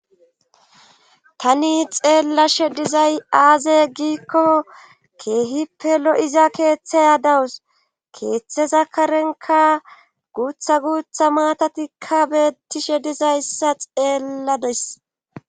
tani xeellashe dizay aaze giikko keehippelo7iza keeththeya dawus keeththe zakarenka guutha guutha maatatikka beettishe dizayssa xeella des